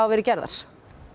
verið gerðar